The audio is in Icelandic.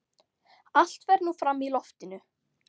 Allt fer nú fram í loftinu.